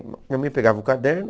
Minha mãe pegava o caderno.